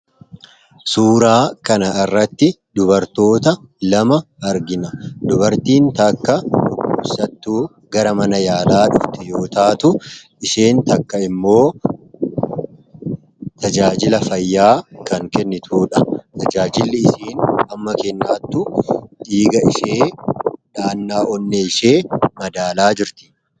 Suuraa kana irratti dubartoota lama argina dubartiin takka ubusattuu gara mana yaalaa dhufti yootaatu isheen takka immoo tajaajila fayyaa kan kennituudha tajaajili isiin hamma kennaattu dhiiga ishee dhaannaa onne ishee madaalaa jirti.